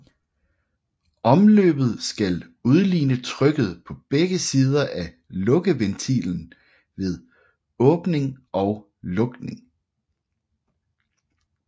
Omløbet skal udligne trykket på begge sider af lukkeventilen ved åbning og lukning